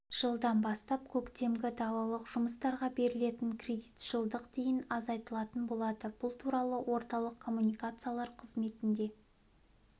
жылдан бастап көктемгі далалық жұмыстарға берілетін кредит жылдық дейін азайтылатын болады бұл туралы орталық коммуникациялар қызметінде